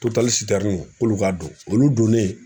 Totali k'olu ka don olu donnen.